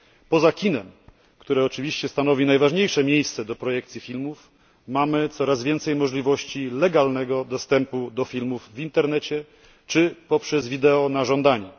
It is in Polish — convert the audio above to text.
Poza kinem, które oczywiście stanowi najważniejsze miejsce do projekcji filmów, mamy coraz więcej możliwości legalnego dostępu do filmów w internecie czy poprzez video na żądanie.